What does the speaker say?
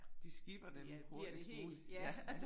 De skipper dem en bette smule ja